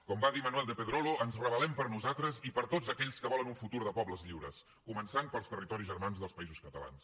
com va dir manuel de pedrolo ens rebel·lem per nosaltres i per tots aquells que volen un futur de pobles lliures començant pels territoris germans dels països catalans